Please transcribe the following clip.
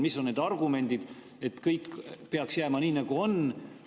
Mis on need argumendid, miks kõik peaks jääma nii, nagu on?